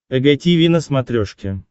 эг тиви на смотрешке